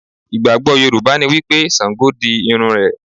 Ìgbàgbọ́ Yorùbá ni wípé Sàngó di irun rẹ̀.